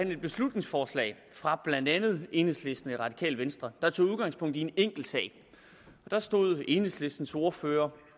vi et beslutningsforslag fra blandt andet enhedslisten og det radikale venstre der tog udgangspunkt i en enkeltsag der stod enhedslistens ordfører